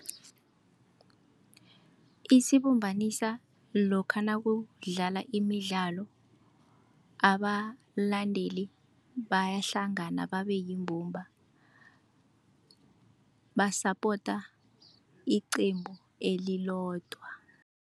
Isibumbanisa lokha nakudlala imidlalo, abalandeli bayahlangana babe yimbumba, basapota iqembu elilodwa.